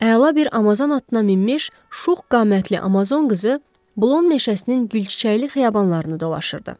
Əla bir Amazon atına minmiş şux qamətli Amazon qızı Blon meşəsinin gülçiçəkli xiyabanlarını dolaşırdı.